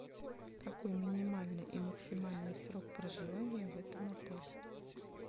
какой минимальный и максимальный срок проживания в этом отеле